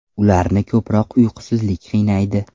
Ularni ko‘proq uyqusizlik qiynaydi.